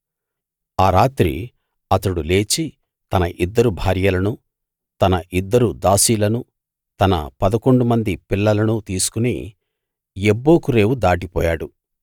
ఆ రాత్రి అతడు లేచి తన ఇద్దరు భార్యలనూ తన ఇద్దరు దాసీలనీ తన పదకొండు మంది పిల్లలనూ తీసుకు యబ్బోకు రేవు దాటిపోయాడు